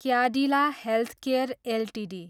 Cadillac healthcare Ltd